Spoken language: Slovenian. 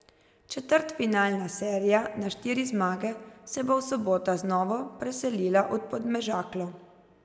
Četrtfinalna serija na štiri zmage se bo v soboto znova preselila v Podmežaklo.